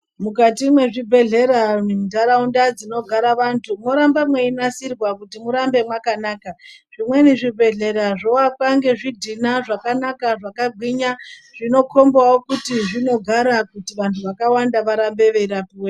Mukati muzvibhehleya ndaraunda zvinogara vantu moramba meinasirwa kuti murambe makanaka zvimweni zvibhehleya zvovakwa ngezvidhina zvakanaka zvakagwinya zvinokombawo kuti zvinogara kuti vantu vakawanda varambe veirapwemo.